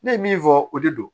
Ne ye min fɔ o de don